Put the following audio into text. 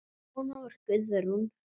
Svona var Guðrún.